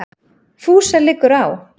FÚSA LIGGUR Á